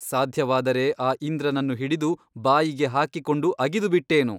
ಸಾಧ್ಯವಾದರೆ ಆ ಇಂದ್ರನನ್ನು ಹಿಡಿದು ಬಾಯಿಗೆ ಹಾಕಿಕೊಂಡು ಅಗಿದು ಬಿಟ್ಟೇನು.